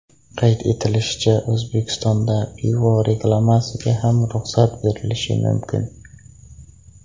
Qayd etilishicha, O‘zbekistonda pivo reklamasiga ham ruxsat berilishi mumkin.